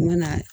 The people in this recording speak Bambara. U mana